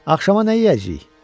Axşama nə yeyəcəyik?